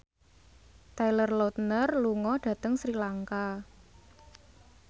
Taylor Lautner lunga dhateng Sri Lanka